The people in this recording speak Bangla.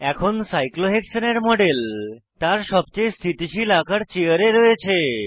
এখন সাইক্লোহেক্সেনের মডেল তার সবচেয়ে স্থিতিশীল আকার চেয়ার এ রয়েছে